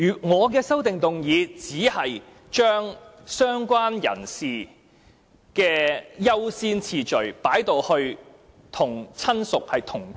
我的修正案只是把"相關人士"的優先次序改為與"親屬"同級。